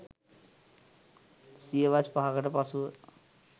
සියවස් 5 කට පසුව